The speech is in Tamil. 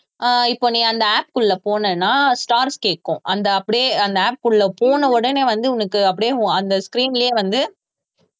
ஆஹ் இப்போ நீ அந்த app க்குள்ள போனேன்னா stars கேக்கும் அந்த அப்படியே அந்த app க்குள்ளே போன உடனே வந்து உனக்கு அப்படியே அந்த screen லேயே வந்து